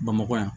Bamakɔ yan